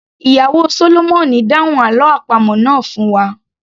Ìyàwó sólómọ̀nì dáhùn àlọ́ àpamọ̀ náà fún wa